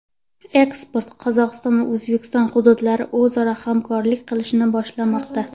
Ekspert: Qozog‘iston va O‘zbekiston hududlari o‘zaro hamkorlik qilishni boshlamoqda.